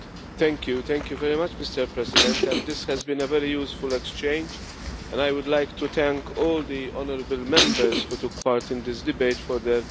Mr President, this has been a very useful exchange, and I would like to thank all the honourable Members who took part in this debate for their interventions.